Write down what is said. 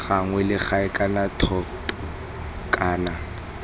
gagwe legae kana thoto kana